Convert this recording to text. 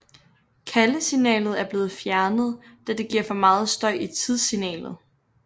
Kaldesignalet er blevet fjernet da det giver for meget støj i tidssignalet